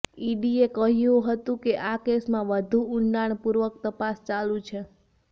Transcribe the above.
ઈડીએ કહ્યું હતુ કે આ કેસમાં વધુ ઉંડાણ પૂર્વક તપાસ ચાલુ છે